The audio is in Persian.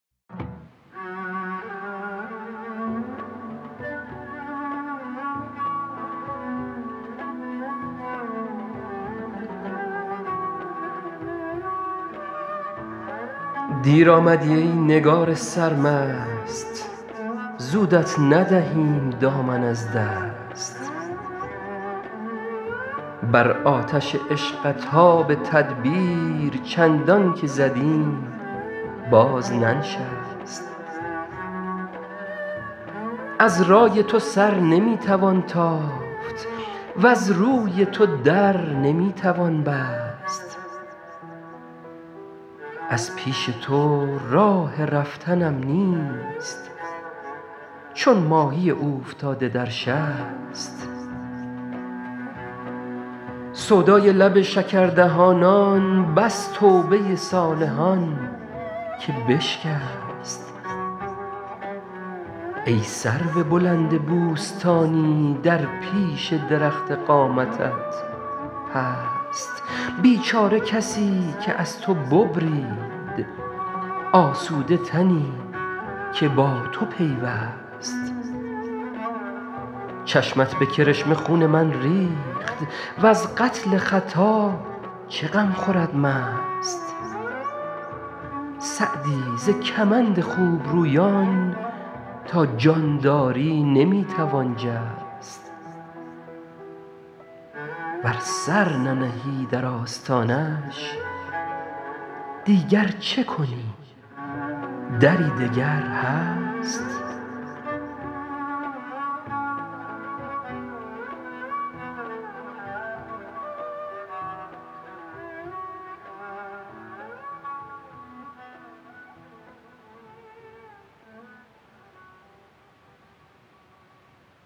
دیر آمدی ای نگار سرمست زودت ندهیم دامن از دست بر آتش عشقت آب تدبیر چندان که زدیم باز ننشست از رای تو سر نمی توان تافت وز روی تو در نمی توان بست از پیش تو راه رفتنم نیست چون ماهی اوفتاده در شست سودای لب شکردهانان بس توبه صالحان که بشکست ای سرو بلند بوستانی در پیش درخت قامتت پست بیچاره کسی که از تو ببرید آسوده تنی که با تو پیوست چشمت به کرشمه خون من ریخت وز قتل خطا چه غم خورد مست سعدی ز کمند خوبرویان تا جان داری نمی توان جست ور سر ننهی در آستانش دیگر چه کنی دری دگر هست